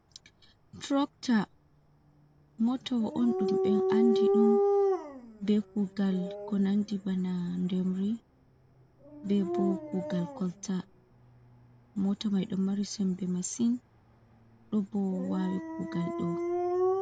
Trokta, motawa on ɗum men andi ɗum be kugal ko nandi bana ndemri be bo kugal kolta mota maido mari sembe masin do bo wawi kugal do.